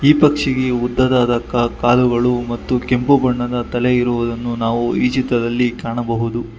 ಈ ಪಕ್ಷಿಗೆ ಉದ್ದದಾದ ಕಾಲುಗಳು ಮತ್ತು ಕೆಂಪು ಬಣ್ಣದ ತಲೆ ಇರುವುದನ್ನು ನಾವು ಈ ಚಿತ್ರದಲ್ಲಿ ಕಾಣಬಹುದು.